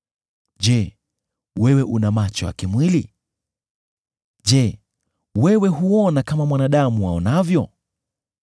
Je, wewe una macho ya kimwili? Je, wewe huona kama mwanadamu aonavyo?